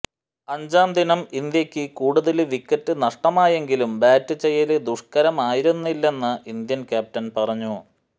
അഞ്ചാദിനം ഇന്ത്യയ്ക്ക് കൂടുതല് വിക്കറ്റ് നഷ്ടമായെങ്കിലും ബാറ്റ് ചെയ്യല് ദുഷ്കരമായിരുന്നില്ലെന്ന് ഇന്ത്യന് ക്യാപ്റ്റന് പറഞ്ഞു